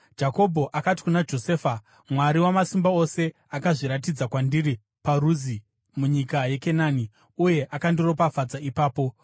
Jakobho akati kuna Josefa, “Mwari Wamasimba Ose akazviratidza kwandiri paRuzi munyika yeKenani, uye akandiropafadza ipapo,